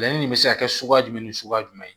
Layɛlɛ nin bɛ se ka kɛ suguya jumɛn ni suguya jumɛn ye